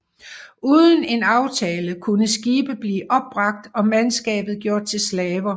Uden en aftale kunne skibe blive opbragt og mandskabet gjort til slaver